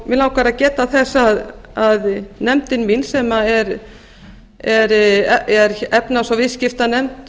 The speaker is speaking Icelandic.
mig langar að geta þess að nefndin mín sem er efnahags og viðskiptanefnd